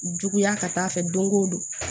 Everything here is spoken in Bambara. Juguya ka taa fɛ dongo don